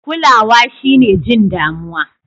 Kulawa shine jin damuwa.